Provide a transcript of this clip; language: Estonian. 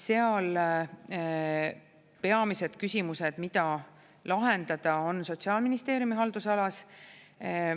Seal peamised küsimused, mida lahendada, on Sotsiaalministeeriumi haldusalas.